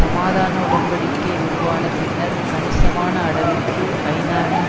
சமாதான உடன் படிக்கை உருவான பின்னர் கணிசமான அளவிற்கு ஐநாவின்